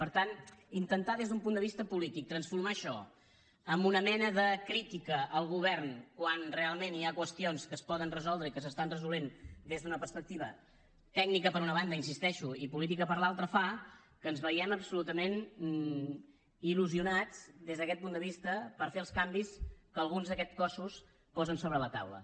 per tant intentar des d’un punt de vista polític transformar això en una mena de crítica al govern quan realment hi ha qüestions que es poden resoldre i que s’estan resolent des d’una perspectiva tècnica per una banda hi insisteixo i política per l’altra fa que ens vegem absolutament il·lusionats des d’aquest punt de vista per fer els canvis que alguns d’aquests cossos posen sobre la taula